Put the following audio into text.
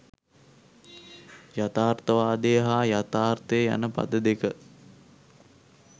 යථාර්ථවාදය හා යථාර්ථය යන පද දෙක